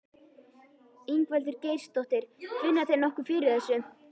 Ingveldur Geirsdóttir: Finna þeir nokkuð fyrir þessu?